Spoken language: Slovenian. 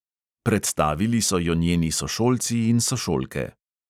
Predstavili so jo njeni sošolci in sošolke.